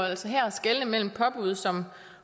altså her skelne mellem påbud som